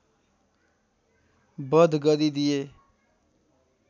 वध गरिदिए